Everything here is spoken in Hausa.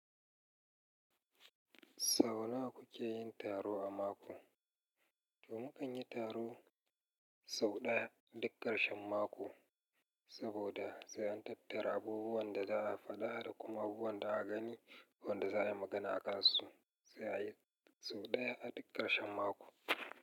Sau nawa kuke yin taro a mako? To mu kan yi taro sau ɗaya a duk ƙarshen mako, saboda sai an tabbatar abubuwan da za a faɗa da kuma abubuwan da aka gani, wanda za a yi magana akansu, sai a yi sau ɗaya a duk ƙarshen mako.